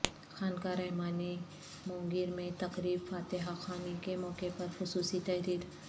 خانقاہ رحمانی مونگیر میں تقریب فاتحہ خوانی کے موقع پر خصوصی تحریر